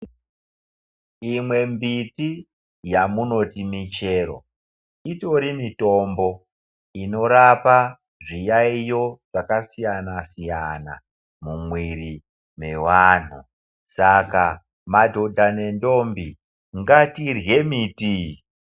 Imwembiti yamunoti michero itori mitombo inorapa zviyayiyo zvakasiyanasiyana mumwiri mweanhu ,saka madhodha nendombi ngatirye miti iyi.